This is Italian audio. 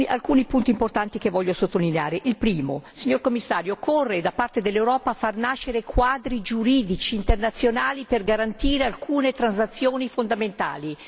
Alcuni punti importanti che voglio sottolineare il primo, Signor Commissario, occorre da parte dell'Europa far nascere quadri giuridici internazionali per garantire alcune transazioni fondamentali.